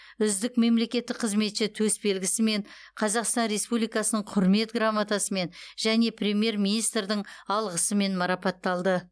үздік мемлекеттік қызметші төсбелгісімен қазақстан республикасының құрмет грамотасымен және премьер министрдің алғысымен марапатталды